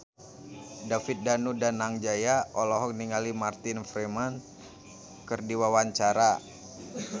David Danu Danangjaya olohok ningali Martin Freeman keur diwawancara